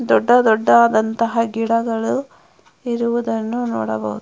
ದೊಡ್ಡ ದೊಡ್ಡದಾದಂತಹ ಗಿಡಗಳು ಇರುವುದನ್ನು ನೋಡಬಹುದು.